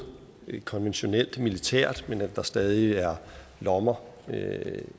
konventionelt militært men at der stadig er lommer